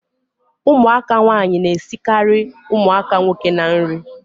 Ụmụaka nwaanyị na-esikarị ụmụaka nwoke na nri